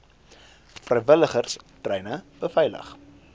vrywilligers treine beveilig